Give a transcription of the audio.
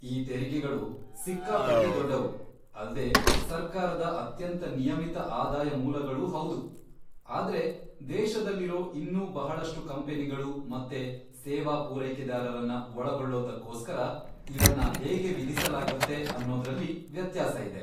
ಈ ತೆರಿಗೆಗಳು ಸಿಕ್ಕಾಪಟ್ಟೆ ದೊಡ್ಡವು ಅಲ್ದೇ ಸರ್ಕಾರದ ಅತ್ಯಂತ ನಿಯಮಿತ ಆದಾಯ ಮೂಲಗಳೂ ಹೌದು, ಆದ್ರೆ ದೇಶದಲ್ಲಿರೋ ಇನ್ನೂ ಬಹಳಷ್ಟು ಕಂಪನಿಗಳು ಮತ್ತೆ ಸೇವಾ ಪೂರೈಕೆದಾರರನ್ನ ಒಳಗೊಳ್ಳೋದಕ್ಕೋಸ್ಕರ ಇವನ್ನ ಹೇಗೆ ವಿಧಿಸಲಾಗತ್ತೆ ಅನ್ನೋದ್ರಲ್ಲಿ ವ್ಯತ್ಯಾಸ ಇದೆ.